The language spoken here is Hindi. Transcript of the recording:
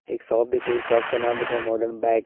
एक शॉप दिख रही है शॉप का नाम लिखा है मॉडर्न बैग --